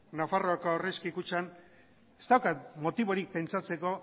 nafarroako aurrezki kutxan ez daukat motiborik pentsatzeko